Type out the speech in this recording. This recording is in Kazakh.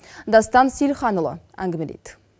дастан сейілханұлы әңгімелейді